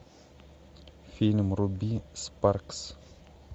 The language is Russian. фильм руби спаркс